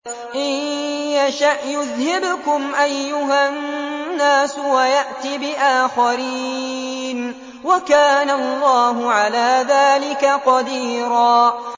إِن يَشَأْ يُذْهِبْكُمْ أَيُّهَا النَّاسُ وَيَأْتِ بِآخَرِينَ ۚ وَكَانَ اللَّهُ عَلَىٰ ذَٰلِكَ قَدِيرًا